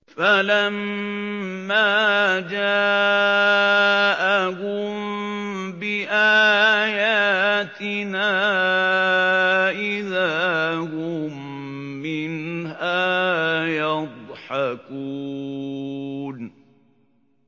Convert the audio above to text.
فَلَمَّا جَاءَهُم بِآيَاتِنَا إِذَا هُم مِّنْهَا يَضْحَكُونَ